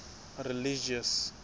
religious